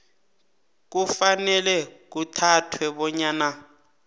kufanele kuthathwe bonyana